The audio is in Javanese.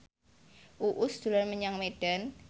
Uus dolan menyang Medan